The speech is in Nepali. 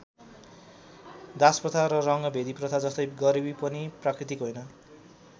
दासप्रथा र रङ्गभेदप्रथा जस्तै गरिबी पनि प्राकृतिक होइन।